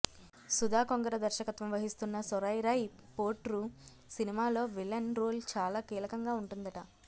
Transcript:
సుధా కొంగర దర్శకత్వం వహిస్తున్న సూరరై పోట్రు సినిమాలో విలన్ రోల్ చాలా కీలకంగా ఉంటుందట